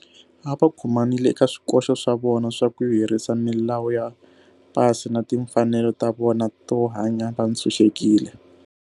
A va khomanile eka swikoxo swa vona swa ku herisa milawu ya pasi na timfanelo ta vona to hanya va ntshuxekile.